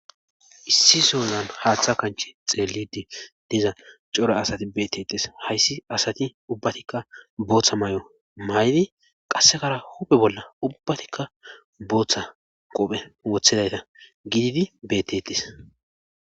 Issi souzan haaththa kanchi xeellidi diza cora asati bettettes hayssi asati ubbatikka booththa may'o may'di qassekara huphe bolla ubbatikka booththa qophe wothedayta gididi bettettes.